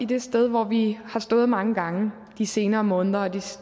det sted hvor vi har stået mange gange de senere måneder og